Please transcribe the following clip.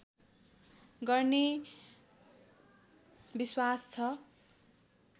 गर्ने विश्वास छ